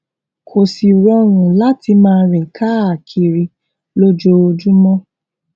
kó sì rọrùn láti máa rìn káàkiri lójoojúmó